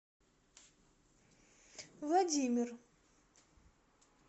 владимир